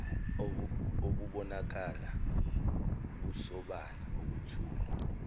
obubonakala busobala obethulwe